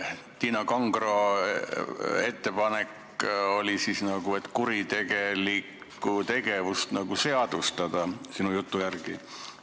Tiina Kangro ettepanek on nagu kuritegelikku tegevust seadustada, sinu jutu järgi.